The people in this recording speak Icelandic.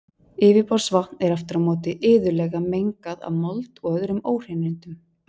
Yfirborðsvatn er aftur á móti iðulega mengað af mold og öðrum óhreinindum.